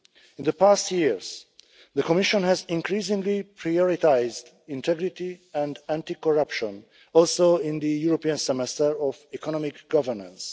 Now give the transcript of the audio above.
In the past years the Commission has increasingly prioritised integrity and anti-corruption, also in the European Semester of economic governance.